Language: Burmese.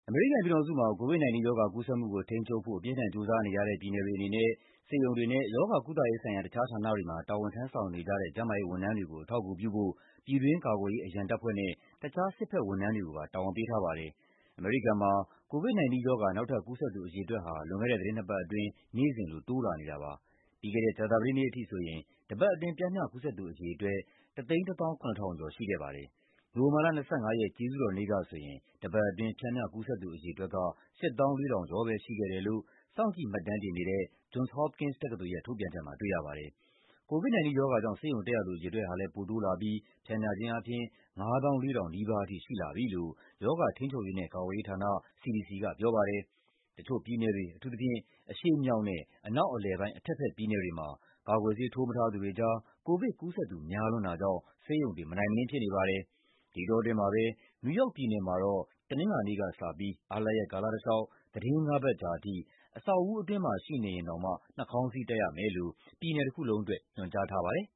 အမေရိကန်ပြည်ထောင်စုမှာ COVID-19 ရောဂါ ကူးစက်မှုကို ထိန်းချုပ်ဖို့ အပြင်းအထန် ကြိုးစားနေရတဲ့ ပြည်နယ်တွေအနေနဲ့ ဆေးရုံတွေနဲ့ ရောဂါကုသရေးဆိုင်ရာ တခြားဌာနတွေမှာ တာဝန်ထမ်းဆောင်နေကြတဲ့ ကျန်းမာရေးဝန်ထမ်းတွေကို အထောက်အကူပြုဖို့ ပြည်တွင်းကာကွယ်ရေး အရန်တပ်ဖွဲ့နဲ့ တခြား စစ်ဘက်ဝန်ထမ်းတွေကိုပါ တာဝန်ပေးထားပါတယ်။ အမေရိကန်မှာ COVID-19 ရောဂါ နောက်ထပ် ကူးစက်သူ အရေအတွက်ဟာ လွန်ခဲ့တဲ့ သီတင်းနှစ်ပတ်အတွင်း နေ့စဉ်လို တိုးလာနေတာပါ။ ပြီးခဲ့တဲ့ ကြာသပတေးနေ့အထိဆိုရင် တပတ်အတွင်း ပျမ်းမျှကူးစက်သူ အရေအတွက် ၁၁၇,၀၀၀ ကျော် ရှိခဲ့ပါတယ်။ နိုဝင်ဘာလ ၂၅ ရက်၊ ကျေးဇူးတော်နေ့ကဆိုရင် တပတ်အတွင်း ပျမ်းမျှကူးစက်သူ အရေအတွက်ဟာ ၈၄,၀၀၀ ကျော်ပဲ ရှိခဲ့တယ်လို့ စောင့်ကြည့်မှတ်တမ်းတင်နေတဲ့ Johns Hopkins တက္ကသိုလ်ရဲ့ ထုတ်ပြန်ချက်မှာ တွေ့ရပါတယ်။ COVID-19 ရောဂါကြောင့် ဆေးရုံတက်ရသူ အရေအတွက်ဟာလည်း ပိုတိုးလာပြီး ပျမ်းမျှခြင်းအားဖြင့် ၅၄,၀၀၀ နီးပါးထိ ရှိလာပြီလို့ ရောဂါထိန်းချုပ်ရေးနဲ့ ကာကွယ်ရေးဌာန (CDC) က ပြောပါတယ်။ တချို့ပြည်နယ်တွေ၊ အထူးသဖြင့် အရှေ့မြောက်နဲ့ အနောက်အလယ်ပိုင်း အထက်ဘက်ပြည်နယ်တွေမှာ ကာကွယ်ဆေး ထိုးမထားသူတွေကြား ကိုဗစ်ကူးစက်သူ များလွန်းတာကြောင့် ဆေးရုံတွေ မနိုင်မနင်း ဖြစ်နေပါတယ်။ ဒီအတောအတွင်းမှာပဲ နယူးယောက်ပြည်နယ်မှာတော့ တနင်္လာနေ့ကစပြီး အားလပ်ရက် ကာလတလျှောက် သီတင်းငါးပတ်ကြာထိ အဆောက်အဦးအတွင်းမှာ ရှိနေရင်တောင် နှာခေါင်းစည်းတပ်ရမယ်လို့ ပြည်နယ်တခုလုံးအတွက် ညွှန်ကြားထားပါတယ်